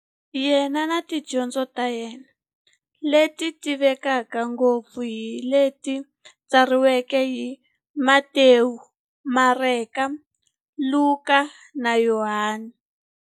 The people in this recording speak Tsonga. Yena na tidyondzo ta yena, leti tivekaka ngopfu hi leti tsariweke hi-Matewu, Mareka, Luka, na Yohani.